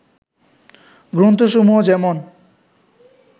গ্রন্থসমূহ যেমন